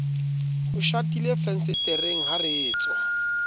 ho shatilefensetereng ha re tswaa